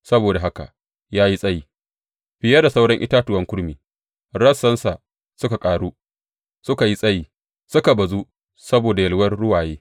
Saboda haka ya yi tsayi fiye da sauran itatuwan kurmi; rassansa suka ƙaru suka yi tsayi, suka bazu saboda yalwar ruwaye.